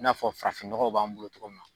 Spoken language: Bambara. I n'a fɔ farafinnɔgɔw b'an bolo cogo min na.